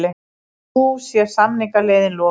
Nú sé samningaleiðin lokuð